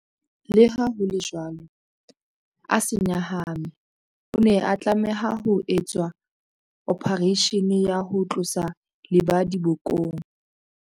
Leha ho le jwalo, a se nyahame. O ne a tlameha ho etswa ophareishene ya ho tlosa lebadi bokong.